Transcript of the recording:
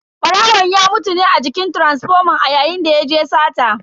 Barawon ya mutu ne a jikin taransifoman a yayin da yaje sata.